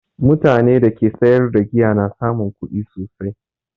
Mutanen da ke sayar da giya na samun kuɗi sosai